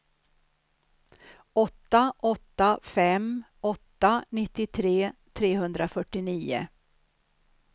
åtta åtta fem åtta nittiotre trehundrafyrtionio